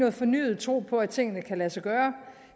en fornyet tro på at tingene kan lade sig gøre